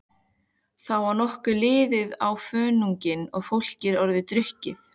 Þá var nokkuð liðið á fögnuðinn og fólk orðið drukkið.